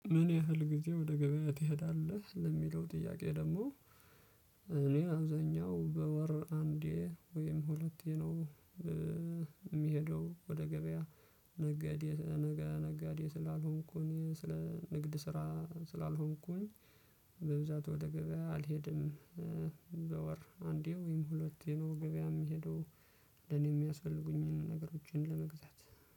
ምን ያህል ጊዜ ወደ ገበያ ትሄዳለህ? ለሚለው ጥያቄ ደግሞ እኔ አብዛኛው በወር አንዴ ወይም ሁለቴ ነው እ የምሄደው ወደ ገበያ። ነጋዴ ነጋዴ ስላልሆንኩኝ ስለ ንግድ ስራ ስላልሆንኩኝ በብዛት ወደ ገበያ አልሄድም። እ በ ወር አንዴ ወይም ሁለት ግዜ ነው ገበያ የሚሄደው። ለኔ የሚያስፈልጉኝን ነገሮችን ለመግዛት